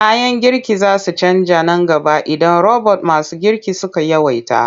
Kayan girki za su canja nan gaba idan robot masu girki suka yawaita.